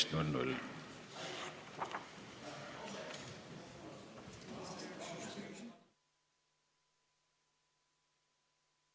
Istungi lõpp kell 13.30.